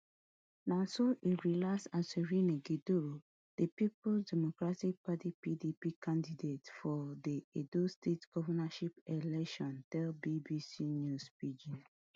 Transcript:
na so as e relaxed as e win di peoples democratic party pdp candidate for di edo state govnorship election tell bbc news pidgin